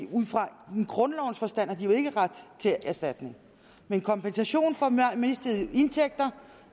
grundlovens forstand har de jo ikke ret til erstatning men kompensation for mistede indtægter